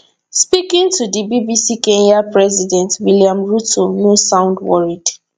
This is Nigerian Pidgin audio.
speaking to di bbc kenyan president william ruto no sound worried